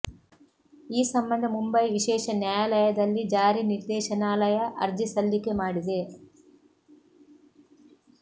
ಈ ಸಂಬಂಧ ಮುಂಬೈ ವಿಶೇಷ ನ್ಯಾಯಾಲಯದಲ್ಲಿ ಜಾರಿ ನಿರ್ದೇಶನಾಲಯ ಅರ್ಜಿ ಸಲ್ಲಿಕೆ ಮಾಡಿದೆ